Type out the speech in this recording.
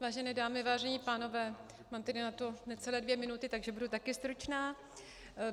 Vážené dámy, vážení pánové, mám tedy na to necelé dvě minuty, takže budu taky stručná.